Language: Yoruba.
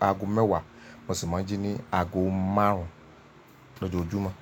aago mẹ́wàá mo sì máa ń jí ní aago márùn-ún lójoojúmọ́.